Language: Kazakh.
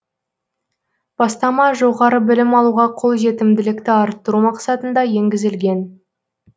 бастама жоғары білім алуға қолжетімділікті арттыру мақсатында енгізілген